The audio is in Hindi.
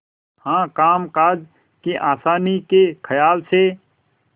हाँ कामकाज की आसानी के खयाल से